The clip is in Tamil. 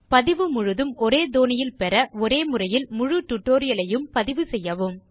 பதிவு முழுவதும் ஒரே தொனியில் பெற ஒரே முறையில் முழு டியூட்டோரியல் ஐயும் பதிவு செய்யவும்